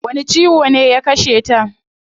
Wani ciwo ne ya kasheta?